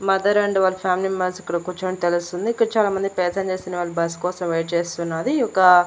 Mother and వాళ్ళ family members ఇక్కడ కూర్చొని తెలుస్తోంది. ఇక్కడ చాలామంది ప్యాసింజర్స్ అనేవాళ్ళు బస్ కోసం వెయిట్ చేస్తూ ఉన్నాది. ఈ యొక్క --